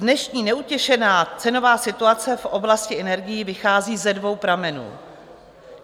Dnešní neutěšená cenová situace v oblasti energií vychází ze dvou pramenů.